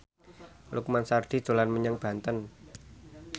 Lukman Sardi dolan menyang Banten